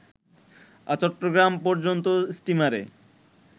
চট্টগ্রাম পর্যন্ত স্টিমারে